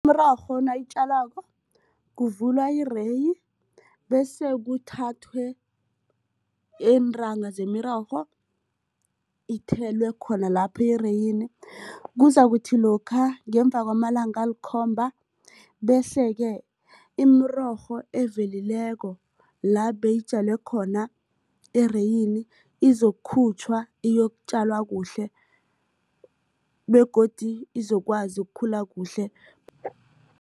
Imirorho nawuyitjalwako kuvulwa ireyi bese kuthathwe iintanga zemirorho ithelwe khona lapho ereyini. Kuzakuthi lokha ngemva kwamalanga alikhomba bese-ke imirorho evelileko la beyitjalwe khona ereyini izokukhutjhwa iyokutjalwa kuhle begodu izokwazi ukukhula kuhle.